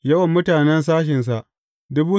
Yawan mutanen sashensa ne.